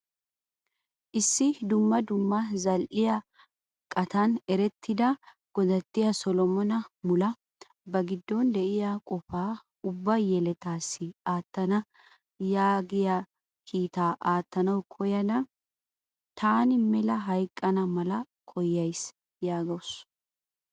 Issi dumma dumma zal"iyaa qaattan erettida Godatiya Solomona Mula ba giddon de'iyaa qofa ubba yelettaas aattana yaagiyaa kiitta aattanawu koyadda 'Taan mela hayqqana mala koyyays.' yaagawusu.